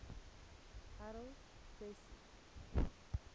harold wesso